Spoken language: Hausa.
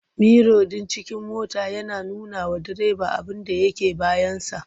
Miro ɗin cikin mota yana nunawa direba abinda yake bayansa.